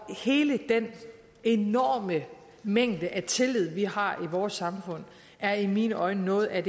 hele den enorme mængde af tillid vi har i vores samfund er i mine øjne noget af